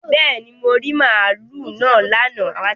Bẹ́ẹ̀ni, mo rí màlúù náà lánàá